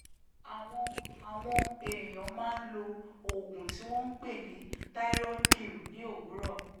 àwọn àwọn èèyàn máa ń lo oògùn tí wọ́n ń pè ní thyroid pill ní òwúrọ̀